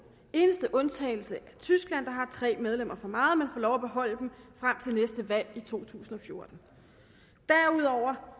eneste undtagelse er tyskland der har tre medlemmer for meget men får lov at beholde dem frem til næste valg i to tusind og fjorten derudover